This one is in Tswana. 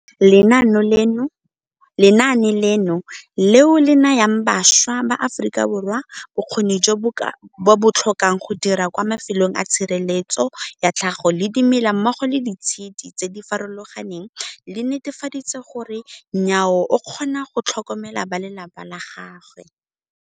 Lenaane leno, leo le nayang bašwa ba Aforika Borwa bokgoni jo ba bo tlhokang go dira kwa mafelong a tshireletso ya tlhago le dimela mmogo le ditshedi tse di farologaneng, le netefaditse gore Nyawo o kgona go tlhokomela balelapa la gagwe.